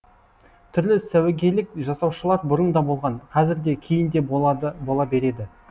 түрлі сәуегейлік жасаушылар бұрын да болған қазір де кейін де бола береді